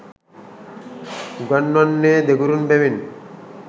උගන්වන්නේ දෙගුරුන් බැවින්